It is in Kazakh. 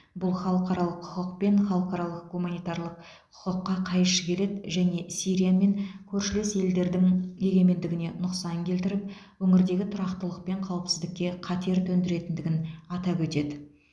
бұл халықаралық құқық пен халықаралық гуманитарлық құқыққа қайшы келеді және сирия мен көршілес елдердің егемендігіне нұқсан келтіріп өңірдегі тұрақтылық пен қауіпсіздікке қатер төндіретіндігін атап өтеді